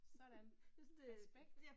Sådan. Respekt